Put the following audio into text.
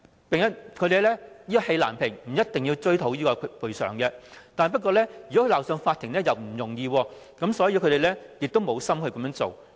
即使是氣難平，他們不一定是要追討賠償，鬧上法庭又殊不容易，所以投訴人亦無意這樣做。